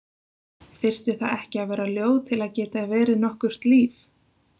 Þyrfti það ekki að vera ljóð til að geta verið nokkurt líf?